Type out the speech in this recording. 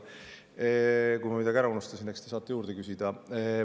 Kui ma midagi ära unustan, eks te saate juurde küsida.